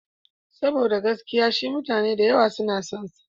Saboda gaskiya shi mutane da yawa suna son sa.